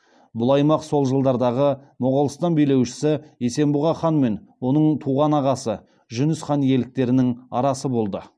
бұл аймақ сол жылдардағы моғолстан билеушісі есенбұға хан мен оның туған ағасы жүніс хан иеліктерінің арасы болды